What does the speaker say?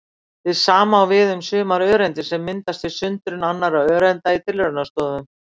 Hið sama á við um sumar öreindir sem myndast við sundrun annarra öreinda í tilraunastofum.